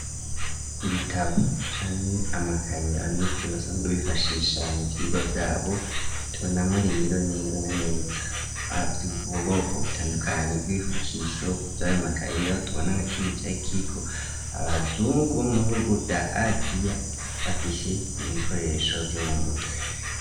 Ibitabo canke amakaye, abanyeshuri basanzwe bifashisha mu Vyigwa vyabo, tubona rero neza na neza abe ubuhoboko butandukanyi, bw'ifukisho vy'ayo makaye, aho tubona nka kimwe canke kiko abazungu bo mu bihugu vya azia bafishe ibikoresho vyo mu mutwe.